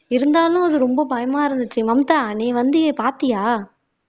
இருந்தாலும் அது ரொம்ப பயமா இருந்துச்சு மம்தா நீ வந்தியே பாத்தியா